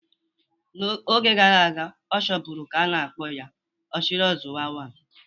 Oge gara aga, ọ chọburu ka a na-akpọ ya "Ochiri ozuwa one".